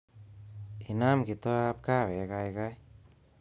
Inam kitoab kahawek kaikai